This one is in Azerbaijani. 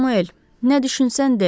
Samuel, nə düşünsən de.